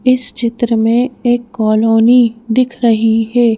इस चित्र में एक कॉलोनी दिख रही है।